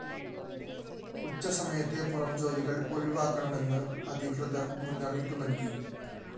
ഉച്ച സമയത്തെ പുറംജോലികള്‍ ഒഴിവാക്കണമെന്ന് അധികൃതര്‍ മുന്നറിയിപ്പ് നല്‍കി